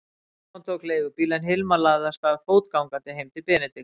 Stefán tók leigubíl en Hilmar lagði af stað fótgangandi heim til Benedikts.